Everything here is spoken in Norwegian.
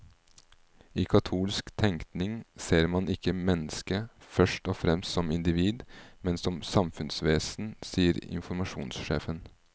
I katolsk tenkning ser man ikke mennesket først og fremst som individ, men som samfunnsvesen, sier informasjonssjefen.